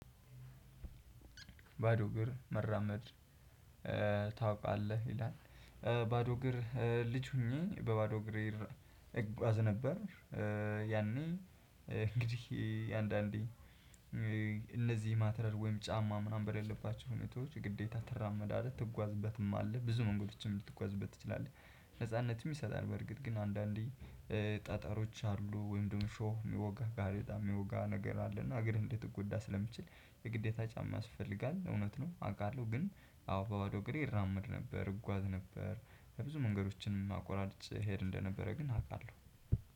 ባዶ እግር መራመድ ታውቃለህ ይላል። ባዶ እግር ልጅ ሁኜ በባዶ እግር እራመ እጓዝ ነበር። ያኔ እንግዲህ አንዳንዴ እነዚህ ማተርያል ወይም ጫማ ምናምን በሌለባቸው ሁኔታዎች ግዴታ ትራመዳለህ ትጓዝበትማለህ ብዙ መንገዶችም ልትጓዝበት ትችላለህ። ነጻነትም ይሰጣል። በርግጥ ግን አንዳንዴ ጠጠሮች አሉ ወይም ደሞ እሾህ ሚወጋ ጋሬጣ ሚወጋ ነገር አለ። እና እግርህን እንድትጎዳ ስለሚችል የግዴታ ጫማ ያስፈልጋል። እውነት ነው። አውቃለው ግን አዎ በባዶ እግሬ እራመድ ነበር እጓዝ ነበር በብዙ መንገዶችንም አቆራርጨ እሄድ እንደነበረ ግን አቃለው።